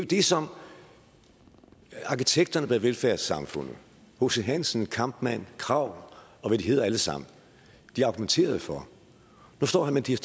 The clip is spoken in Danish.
det som arkitekterne bag velfærdssamfundet hc hansen kampmann krag og hvad de hedder alle sammen argumenterede for nu står herre mattias